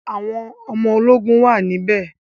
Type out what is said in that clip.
Àwọn ọmọ ológun wà níbẹ̀